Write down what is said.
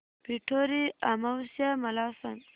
पिठोरी अमावस्या मला सांग